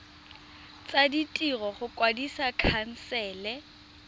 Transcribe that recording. tsa ditiro go kwadisa khansele